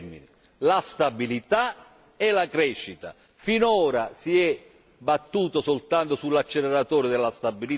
Finora si è battuto soltanto sull'acceleratore della stabilità e dell'austerità e non su quello della crescita.